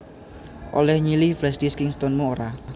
Oleh nyilih flashdisk Kingston mu ora?